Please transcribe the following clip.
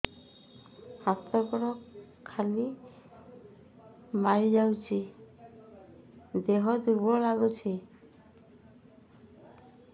ହାତ ଗୋଡ ଖିଲା ମାରିଯାଉଛି ଦେହ ଦୁର୍ବଳ ଲାଗୁଚି